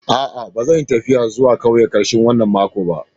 Aa, ba zan yi taffiya zuwa ƙauyen karshen wanan makon ba.